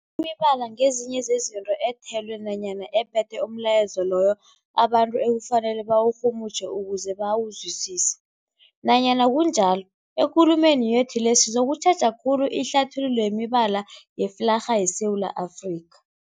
Imibala ngezinye zezinto ethelwe nanyana ephethe umlayezo loyo abantu ekufanele bawurhumutjhe ukuze bawuzwisise. Nanyana kunjalo, ekulumeni yethu le sizokutjheja khulu ihlathululo yemibala yeflarha yeSewula Afrika.